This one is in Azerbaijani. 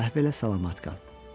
Əhv elə, salamat qal.